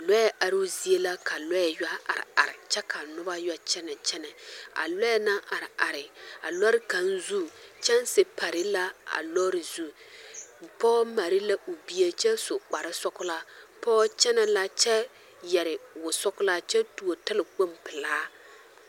Lɔɛ aroozie la ka lɔɛ yɔ are are kyɛ ka noba yɔ kyɛnɛ kyɛnɛ a lɔɛ naŋ are are a lɔɔre kaŋ zu kyɛnsi pare la a lɔɔre zu pɔge mare la o bie kyɛ su kparesɔglaa pɔge kyɛnɛ la kyɛ yɛre wosɔglaa kyɛ tuo talakpoŋ pelaa.